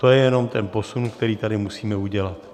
To je jenom ten posun, který tady musíme udělat.